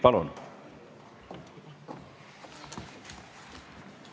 Palun!